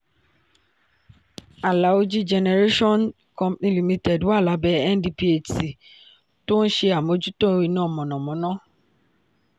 alaoji generation company limited wà lábẹ́ ndphc tó ń ṣe àmójútó iná mọ̀nàmọ́ná.